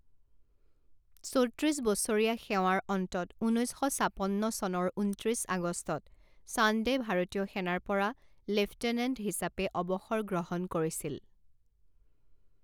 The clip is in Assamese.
চৌত্ৰিছ বছৰীয়া সেৱাৰ অন্তত ঊনৈছ শ ছাপন্ন চনৰ ঊনত্ৰিছ আগষ্টত চান্দে ভাৰতীয় সেনাৰ পৰা লেফটেনেণ্ট হিচাপে অৱসৰ গ্ৰহণ কৰিছিল।